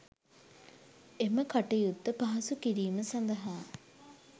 එම කටයුත්ත පහසු කිරීම සඳහා